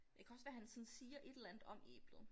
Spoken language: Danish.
Det kan også være han sådan siger et eller andet om æblet